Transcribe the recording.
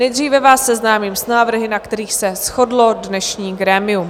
Nejdříve vás seznámím s návrhy, na kterých se shodlo dnešní grémium.